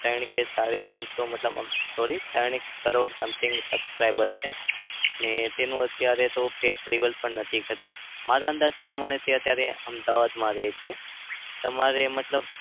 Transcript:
ત્રણ કે સાડી ત્રણસો મતલબ sorry ત્રણ કરોડ something subscriber છે. ને તેનું તો અત્યારે તો face reveal પણ નથી કર્યું. મારા અંદાજ પ્રમાણથી તો અત્યારે અમદાવાદમાં રહે છે. તમારે મતલબ